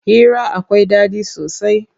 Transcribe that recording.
Hira akwai ɗaɗi sosai.